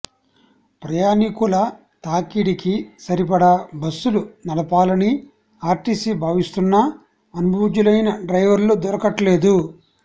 ప్రయాణికుల తాకిడికి సరిపడా బస్సులు నడపాలని ఆర్టీసీ భావిస్తున్నా అనుభవజ్ఞులైన డ్రైవర్లు దొరకట్లేదు